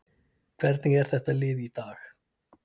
Hvernig er þetta lið í dag?